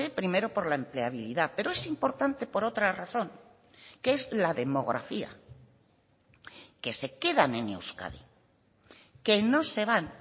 primero por la empleabilidad pero es importante por otra razón que es la demografía que se quedan en euskadi que no se van